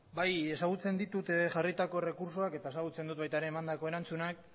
bai ezagutzen ditut jarritako errekurtsoak eta ezagutzen dut baita ere emandako erantzunak